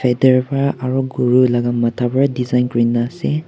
etur para aru goru gala matha para design kori na ase.